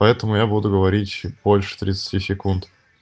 поэтому я буду говорить больше тридцати секунд